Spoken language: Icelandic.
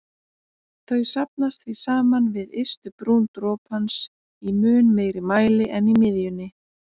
Þau safnast því saman við ystu brún dropans í mun meiri mæli en í miðjunni.